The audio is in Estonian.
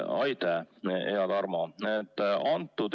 Aitäh, hea Tarmo!